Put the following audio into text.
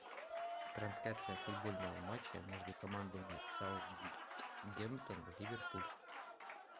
трансляция футбольного матча между командами саутгемптон ливерпуль